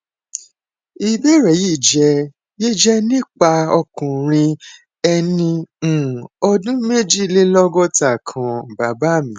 ìbéèrè yìí jẹ yìí jẹ nípa ọkùnrin ẹni um ọdún méjìlélọgọta kan baba mi